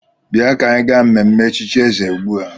Bịa ka anyị gaa mmemme echichi eze ugbu a!